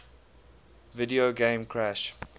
video game crash